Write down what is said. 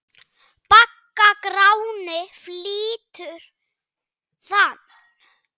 Bagga Gráni flytur þann.